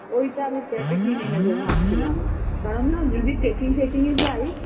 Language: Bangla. ওইটা আমি একটা কিনে নেবো ভাবছিলাম, কারণ না যদি tracking ফেকিংএ যাই